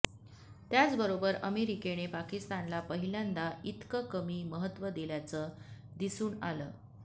त्याचबरोबर अमेरिकेने पाकिस्तानला पहिल्यादाच इतकं कमी महत्व दिल्याचं दिसून आलं